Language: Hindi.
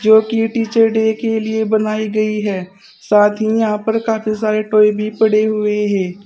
जो कि टीचर डे के लिए बनाई गई है साथ ही यहां पर काफी सारे टॉय भी पड़े हुए हैं।